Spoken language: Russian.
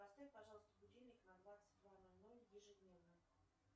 поставь пожалуйста будильник на двадцать два ноль ноль ежедневно